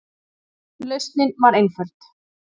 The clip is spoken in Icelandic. Lausnin var einföld.